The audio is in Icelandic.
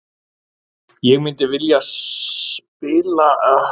Ég myndi vilja spila eitthvað í Brasilíu, hinu sanna landi fótboltans.